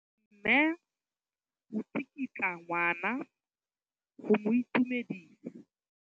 Mme o tsikitla ngwana go mo itumedisa.